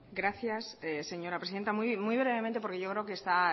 gracias señora presidenta muy brevemente porque yo creo que está